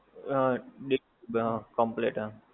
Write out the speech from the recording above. હા complete હા